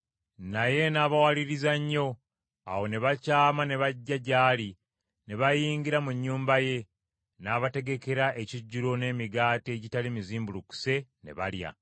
Naye n’abawaliriza nnyo; awo ne bakyama ne bajja gy’ali ne bayingira mu nnyumba ye, n’abategekera ekijjulo n’emigaati egitali mizimbulukuse ne balya.